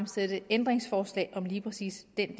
stille ændringsforslag om lige præcis den